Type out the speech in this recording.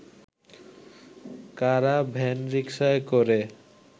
কারা ভ্যানরিক্সায় করে